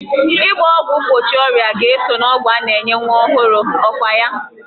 Ịgba ọgwụ mgbochi ọrịa ga-eso n'ọgwụ a na-enye nwa ọhụrụ, ọkwa ya?